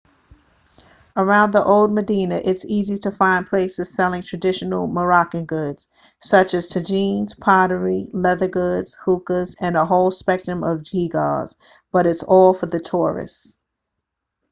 around the old medina it's easy to find places selling traditional moroccan goods such as tagines pottery leather goods hookahs and a whole spectrum of geegaws but it's all for the tourists